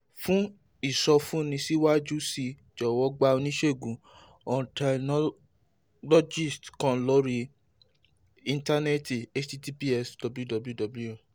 fún ìsọfúnni síwájú sí i jọ̀wọ́ gba oníṣègùn otolaryngologist kan lórí íńtánẹ́ẹ̀tì https://www